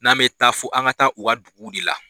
N'an bE taa, fo an ka taa u ka dugu de la.